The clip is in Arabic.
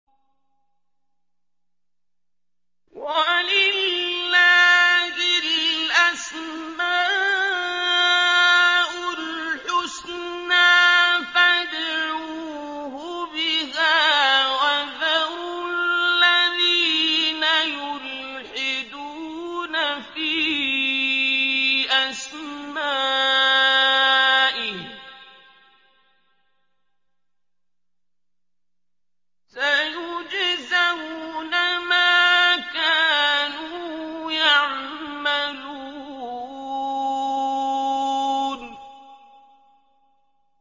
وَلِلَّهِ الْأَسْمَاءُ الْحُسْنَىٰ فَادْعُوهُ بِهَا ۖ وَذَرُوا الَّذِينَ يُلْحِدُونَ فِي أَسْمَائِهِ ۚ سَيُجْزَوْنَ مَا كَانُوا يَعْمَلُونَ